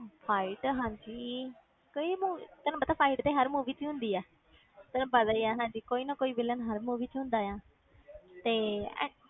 Fight ਹਾਂਜੀ ਕਈ ਮੂ~ ਤੈਨੂੰ ਪਤਾ fight ਤੇ ਹਰ movie 'ਚ ਹੁੰਦੀ ਹੈ ਤੈਨੂੰ ਪਤਾ ਹੀ ਹੈ ਕੋਈ ਨਾ ਕੋਈ villain ਹਰ movie 'ਚ ਹੁੰਦਾ ਆ ਤੇ ਇਹ